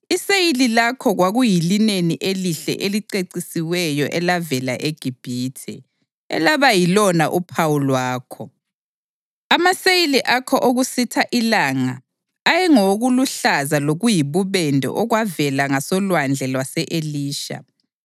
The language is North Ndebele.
Iseyili lakho kwakuyilineni elihle elicecisiweyo elavela eGibhithe, elaba yilona phawu lwakho; amaseyili akho okusitha ilanga ayengawokuluhlaza lokuyibubende okwavela ngasolwandle lwase-Elisha.